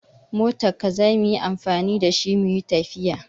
We are going to use your car to travel.